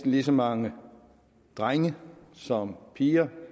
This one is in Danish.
lige så mange drenge som piger